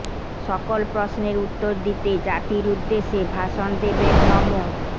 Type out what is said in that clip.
সকল প্রশ্নের উত্তর দিতে জাতির উদ্দেশে ভাষণ দেবেন নমো